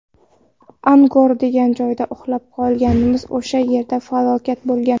Angor degan joyda uxlab qolganmiz, o‘sha yerda falokat bo‘lgan.